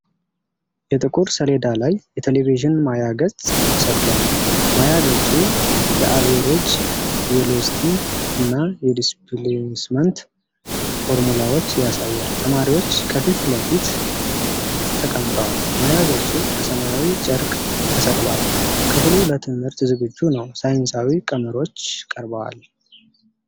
የጥቁር ሰሌዳ ላይ የቴሌቪዥን ማያ ገጽ ተሰቅሏል። ማያ ገጹ የአቬሬጅ ቬሎሲቲ እና የዲስፕሌስመንት ፎርሙላዎች ያሳያል። ተማሪዎች ከፊት ለፊት ተቀምጠዋል። ማያ ገጹ በሰማያዊ ጨርቅ ተሰቅሏል። ክፍሉ ለትምህርት ዝግጁ ነው። ሳይንሳዊ ቀመሮች ቀርበዋል።